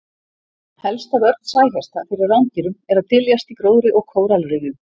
Helsta vörn sæhesta fyrir rándýrum er að dyljast í gróðri og kóralrifjum.